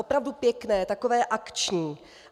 Opravdu pěkné, takové akční!